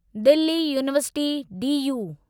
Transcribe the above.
Delhi university DU